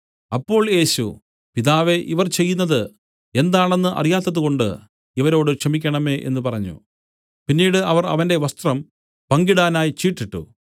അപ്പോൾ യേശു പിതാവേ ഇവർ ചെയ്യുന്നതു എന്താണെന്ന് അറിയാത്തതുകൊണ്ട് ഇവരോട് ക്ഷമിക്കേണമേ എന്നു പറഞ്ഞു പിന്നീട് അവർ അവന്റെ വസ്ത്രം പങ്കിടാനായി ചീട്ടിട്ടു